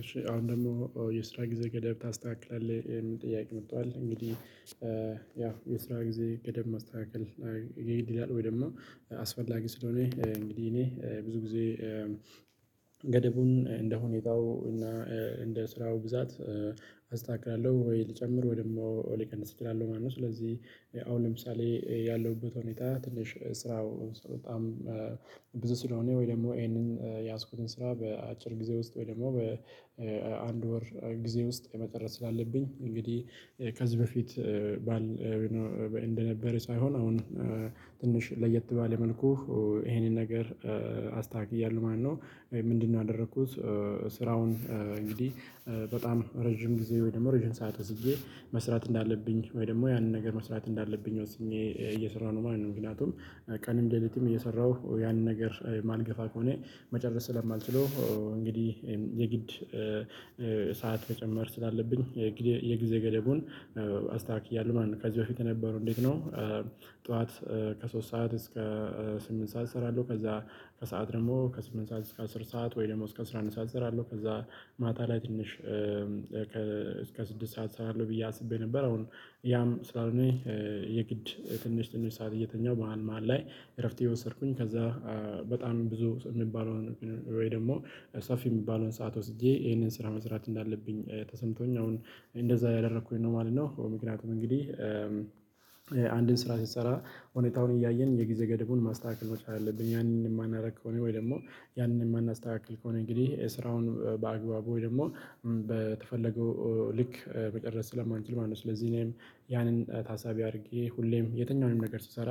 እሺ አሁን ደግሞ የስራ ጊዜ ገደብ ታስተካክላለህ የሚል ጥያቄ መጥቷል። እንግዲህ ያው የስራ ጊዜ ቅደም ማስተካከል የግድ ይላል። ወይም ደግሞ አስፈላጊ ስለሆነ እንግዲህ እኔ ብዙ ጊዜ ገደቡን እንደ ሁኔታው እና እንደ ስራው ብዛት አስተካክላለሁ ወይ ልጨምር ወይ ደግሞ ልቀንስ እችላለሁ ማለት ነው። ስለዚህ አሁን ለምሳሌ ያለሁበት ሁኔታ ትንሽ ስራው በጣም ብዙ ስለሆነ ወይ ደግሞ የያዝኩትን ስራ በአጭር ጊዜ ውስጥ ወይ ደግሞ በአንድ ወር ጊዜ ውስጥ መጨረስ ስላለብኝ እንግዲህ ከዚህ በፊት በዓል እንደነበረ ሳይሆን አሁን ትንሽ ለየት ባለ መልኩ ይሄንን ነገር አስተካክያለሁ ማለት ነው። ምንድን ነው ያደረኩት? ስራውን እንግዲህ በጣም ረጅም ጊዜ ወይ ደግሞ ረጅም ሰዓት ወስጄ መስራት እንዳለብኝ ወይ ደግሞ ያንን ነገር መስራት እንዳለብኝ ወስኜ እየሰራሁ ነው ማለት ነው። ምክንያቱም ቀንም ሌልትም እየሰራሁ ያንን ነገር የማልገፋ ከሆነ መጨረስ ስለማልችል ነው። እንግዲህ የግድ ሰዓት መጨመር ስላለብኝ የጊዜ ገደቡን አስተካክያለሁ ማለት ነው። ከዚህ በፊት የነበረው እንዴት ነው? ጠዋት ከሶስት ሰዓት እስከ ስምንት ሰዓት እሰራለሁ ከዚያ ከሰአት ደግሞ ከስምንት ሰዓት እስከ አስር ሰዓት ወይም ደግሞ እስከ አስራ አንድ ሰዓት እሰራለሁ ከዚያ ማታ ላይ ትንሽ እስከ ስድስት ሰዓት እሰራለሁ ብዬ አስቤ ነበር። አሁን ያም ስላልሆነ የግድ ትንሽ ትንሽ ሰዓት እየተኛሁ መሃል መሃል ላይ እረፍት እየወሰድኩኝ ከዛ በጣም ብዙ የሚባለውን ወይ ደግሞ ሰፊ የሚባለውን ሰዓት ወስጄ ይሄንን ስራ መስራች እንዳለብኝ ተሰምቶኝ አሁን እንደዚያ እያደረኩኝ ነው ማለት ነው። ምክንያቱም እንግዲህ አንድን ስራ ስንሰራ ሁኔታውን አያየን እያየን የጊዜ ገደቡን ማስተካከል መቻል አለብኝ ያንን የማናደርግ ከሆነ ወይም ደግሞ ያንን የማናስተካክል ከሆነ እንግዲህ ስራውን በአግባቡ ወይም ደግሞ በተፈለገው መቅረጽ ስለማንችል ማለት ነው። ስለዚህ እኔም ያንን ታሳቢ አድርጌ ሁሌም የትኛውንም ነገር ስሰራ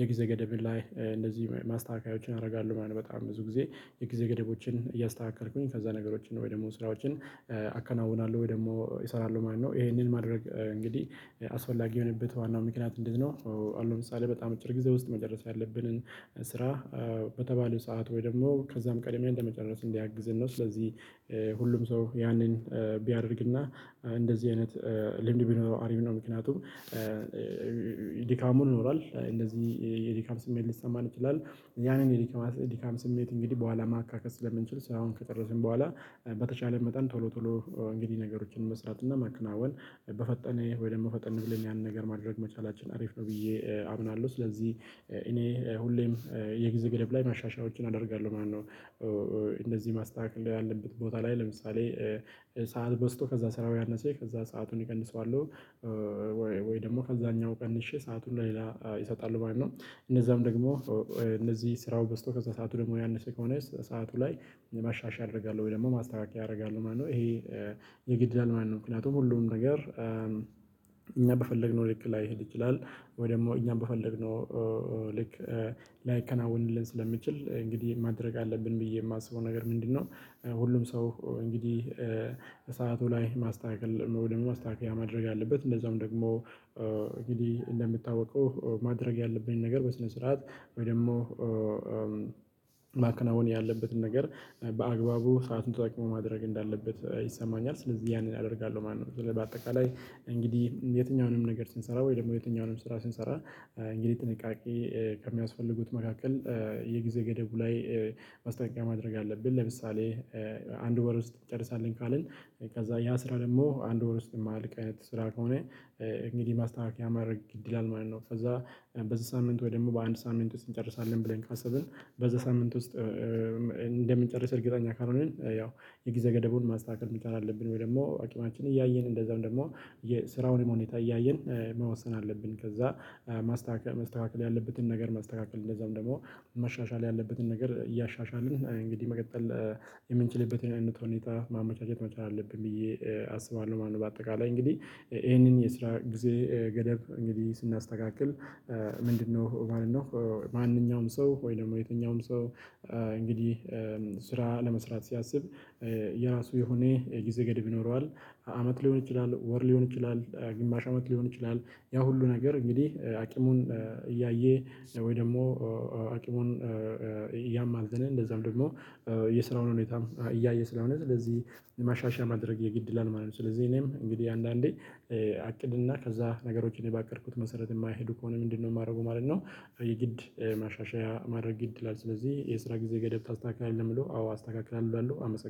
የጊዜ ገደብ ላይ እንደዚህ ማስተካከያዎችን አደርጋለሁ ማለት በጣም ብዙ ጊዜ የጊዜ ገደቦችን እያስተካከልኩኝ ከዚያ ነገሮችን ወይም ደግሞ ስራዎችን አከናውናለሁ ወይ ደግሞ እሰራለሁ ማለት ነው። ይሄንን ማድረግ እንግዲህ አስፈላጊ የሆነበት ዋናው ምክንያት እንዴት ነው? አሁን ለምሳሌ በጣም በአጭር ጊዜ ውስጥ መጨረስ ያለብንን ስራ በተባለው ሰዓት ወይም ደግሞ ከዚያም ቀድመን ለመጨረስ እንዲያግዘን ነው ስለዚህ ሁሉም ሰው ያንን ቢያደርግና እንደዚህ አይነት ልምድ ቢኖረው አሪፍ ነው። ምክንያቱም ድካሙ ይኖራል እንደዚህ የድካም ስሜት ሊሰማን ይችላል ያንን የድካም ስሜት እንግዲህ በኋላ ማካከስ ስለምንችል ስራውን ከጨረስን በኋላ በተቻለን መጠን ቶሎ ቶሎ እንግዲህ ነገሮችን መስራት እና መከናወን በፈጠነ ወይ ደግሞ ፈጠን ብለን ያንን ነገር ማድረግ መቻላችን አሪፍ ነው ብዬ አምናለሁ። ስለዚህ እኔ ሁሌም የጊዜ ገደብ ላይ ማሻሻያዎችን አደርጋለሁ ማለት ነው። እንደዚህ ማስተካከል ያለበት ቦታ ላይ ለምሳሌ ሰዓት በስቶ ከዛ ስራው ያነሰ ከዚያ ሰአቱን እቀንሰዋለሁ ወይ ደግሞ ከዚያኛው ቀንሼ ሰአቱን ለሌላ እሰጣለሁ ማለት ነው። እነዚያም ደግሞ እነዚህ ስራው በዝቶ ከዚያ ሰዓቱ ደግሞ ያነሰ ከሆነ ሰዓቱ ላይ ማሻሻያ አደርጋለሁ ወይ ደግሞ ማስተካከያ አደርጋለሁ ማለት ነው። ይሄ የግድ ይላል ማለት ነው። ምክንያቱም ሁሉም ነገር እኛ በፈለግነው ልክ ላይሄድ ይችላል ወይም ደግሞ እኛ በፈለግነው ልክ ላይከናወንልን ስለሚችል እንግዲህ ምን ማድረግ አለብን ብዬ የማስበው ነገር ምንድን ነው? ሁሉም ሰው እንግዲህ ሰዓቱ ላይ ማስተካከል ወይም ደግሞ ማስተካከያ ማድረግ አለበት። እንደዛውም ደግሞ እንግዲህ እንደሚታወቀው ማድረግ ያለብኝን ነገር በስነ ስርዓት ወይም ደግሞ ማከናወን ያለበትን ነገር በአግባቡ ሰአቱን ተጠቅሞ ማድረግ እንዳለበት ይሰማኛል ስለዚህ ያንን አደርጋለሁ ማለት ነው። በአጠቃላይ እንግዲህ የትኛውንም ነገር ስንሰራ ወይ ደግሞ የትኛውንም ስራ ስንሰራ እንግዲህ ጥንቃቄ ከሚያስፈልጉት መካከል የጊዜ ገደቡ ላይ ማስጠንቀቂያ ማድረግ አለብን። ለምሳሌ አንድ ወር ውስጥ እንጨርሳለን ካልን ከዚያ ያ ስራ ደግሞ በአንድ ወር ውስጥ የማልቅ ስራ ከሆነ እንግዲህ ማስተካከያ ማድረግ ግድ ይላል ማለት ነው። ከዚያ በዚህ ሳምንት ወይ ደግሞ በአንድ ሳምንት ውስጥ እንጨርሳለን ብለን ካሰብን በዚያ ሳምንት ውስጥ እንደምንጨርስ እርግጠኛ ካልሆንን ያው የጊዜ ገደቡን ማስተካከል መቻል አለብን ወይ ደግሞ አቅማችንን እያየን እንደዚያውም ደግሞ የስራውንም ሁኔታ እያየን መወሰን አለብን። ከዚያ ማስተካከል መስተካከል ያለበትን ነገር ማስተካከል እንደዚያውም ደግሞ መሻሻል ያለበትን ነገር እያሻሻልን እንግዲህ መቀጠል የምንችልበትን አይነት ሁኔታ ማመቻቸት መቻል አለብን ብዬ አስባለሁ ማለት ነው። በአጠቃላይ እንግዲህ ይሄንን የስራ ጊዜ ገደብ እንግዲህ ስናስተካክል ምንድን ነው ማለት ነው? ማንኛውም ሰው ወይም ደግሞ የትኛውም ሰው እንግዲህ ስራ ለመስራት ሲያስብ የራሱ የሆነ የጊዜ ገድብ ይኖረዋል። አመት ሊሆን ይችላል ወር ሊሆን ይችላል ግማሽ አመት ሊሆን ይችላል ያ ሁሉ ነገር እንግዲህ አቅሙን እያየ ወይ ደግሞ አቅሙን እያማዘነ እንደዚያም ደግሞ የስራውን ሁኔታም እያየ ስለሆነ ስለዚህ ማሻሻያ ማድረግ የግድ ይላል ማለት ነው። ስለዚህ እኔም እንግዲህ አንዳንዴ አቅድና ከዚያ ነገሮች እኔ በአቀድኩት መሰረት የማይሄዱ ከሆነ ምንድን ነው የማደርገው ማለት ነው? የግድ ማሻሻያ ማድረግ ግድ ይላል። ስለዚህ የስራ ጊዜ ገደብ ታስተካክላለህ ለሚለው አዎ አስተካክላለሁ እላለሁ አመሰግናለሁ